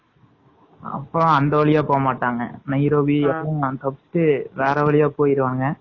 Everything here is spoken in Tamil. அப்பறம் அந்த வழியா போகமாட்டாங்க.வேற வழியா போயிருவாங்க.